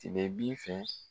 Sebebin fɛ